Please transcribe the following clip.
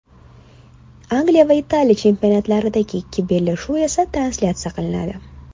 Angliya va Italiya chempionatlaridagi ikki bellashuv esa translyatsiya qilinadi.